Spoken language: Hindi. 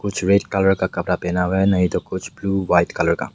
कुछ रेड कलर का कपड़ा पहना हुआ है नहीं तो कुछ ब्लू वाइट कलर का।